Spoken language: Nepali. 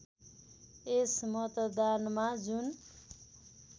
यस मतदानमा जुन